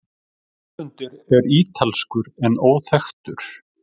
Höfundur er ítalskur en óþekktur.